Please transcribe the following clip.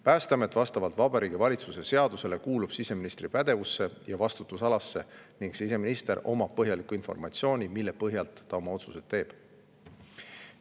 Päästeamet kuulub vastavalt Vabariigi Valitsuse seadusele siseministri pädevusse ja vastutusalasse ning siseminister omab põhjalikku informatsiooni, mille põhjal ta oma otsuseid teeb.